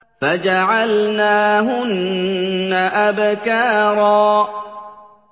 فَجَعَلْنَاهُنَّ أَبْكَارًا